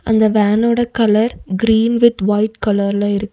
அந்த வேனோட colour green with white கலர்ல இருக்--